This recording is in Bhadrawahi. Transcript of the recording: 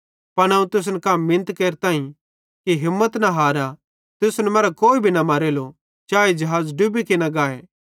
पन अवं तुसन कां मिनत केरताईं कि हिम्मत न हारा तुसन मरां कोई भी न मरेलो चाए ज़िहाज़ डुबी किना गाए